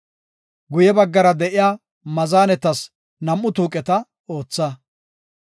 Guye baggara de7iya maazanetas nam7u tuuqeta ootha.